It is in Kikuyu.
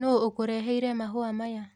Nũ ũkũreheire mahũa maya?